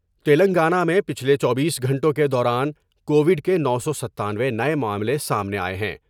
تلنگانہ میں پچھلے چوبیس گھنٹوں کے دوران کووڈ کے نو سو ستانوے نئے معاملے سامنے آۓ ہیں ۔